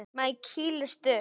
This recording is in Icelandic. Maður kýlist upp.